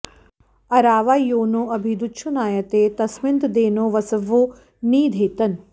अरावा यो नो अभि दुच्छुनायते तस्मिन्तदेनो वसवो नि धेतन